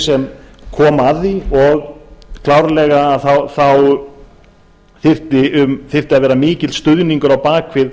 sem koma að því og klárlega þyrfti að vera mikill stuðningur á bak við